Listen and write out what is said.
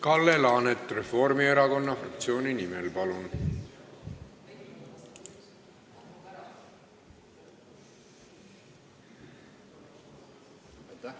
Kalle Laanet Reformierakonna fraktsiooni nimel, palun!